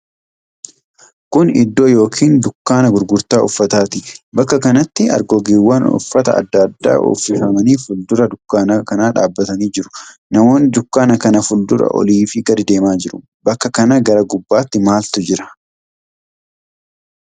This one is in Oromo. Kun iddoo yookiin dukkaana gurgurtaa uffataati. Bakka kanatti argoggeewwan uffata adda addaa uffifamanii fuuldura dukkaana kanaa dhaabamanii jiru. Namoonni dukkaana kan fuuldura oliifi gadii deemaa jiru. Bakka kana gara gubbaatti maaltu jira?